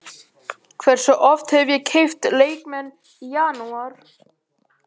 Hversu oft hef ég keypt leikmenn í janúar?